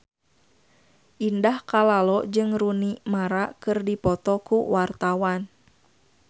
Indah Kalalo jeung Rooney Mara keur dipoto ku wartawan